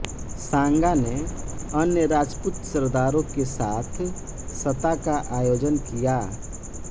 सांगा ने अन्य राजपूत सरदारों के साथ सत्ता का आयोजन किया